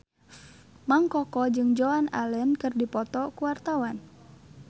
Mang Koko jeung Joan Allen keur dipoto ku wartawan